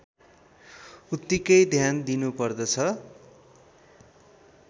उत्तिकै ध्यान दिइनुपर्दछ